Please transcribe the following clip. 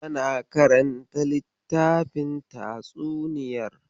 Tana karanta littafin tatsuniyar.